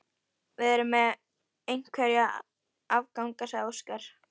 Við erum með einhverja afganga, sagði Óskar.